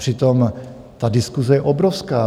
Přitom ta diskuse je obrovská.